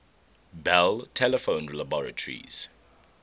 bell telephone laboratories